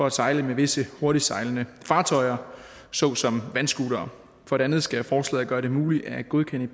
at sejle med visse hurtigtsejlende fartøjer såsom vandscootere for det andet skal forslaget gøre det muligt at godkende